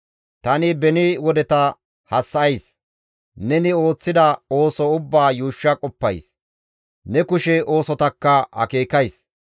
Tani beni wodeta hassa7ays; neni ooththida ooso ubbaa yuushsha qoppays; ne kushe oosotakka akeekays.